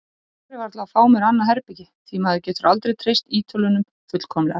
Ég þori varla að fá mér annað herbergi því maður getur aldrei treyst Ítölunum fullkomlega.